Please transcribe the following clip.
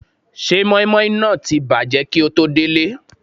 Ṣé mọ́ímọ́í náà ti bàjẹ́ kíi o tó délé?